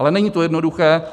Ale není to jednoduché.